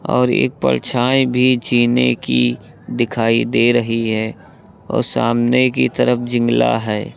और एक परछाई भी जीने की दिखाई दे रही है और सामने की तरफ जिंगला है।